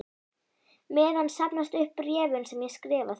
meðan safnast upp bréfin sem ég skrifa þér.